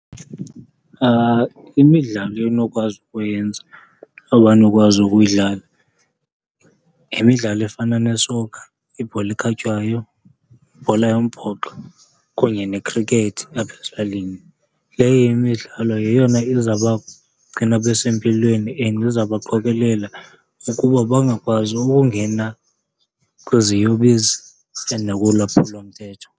Imidlalo enokwazi ukuyenza, abanokwazi ukuyidlala yimidlalo efana ne-soccer, ibhola ekhatywayo, ibhola yombhoxo kunye nekhrikethi apha ezilalini. Leyo imidlalo yeyona izawuba gcina besempilweni and izawuba qokelela ukuba bangakwazi ukungena kwiziyobisi and nakulwaphulomthetho.